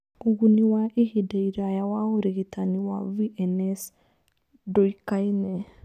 Ũguni wa ihinda iraya wa ũrigitani wa VNS ndũĩkaine.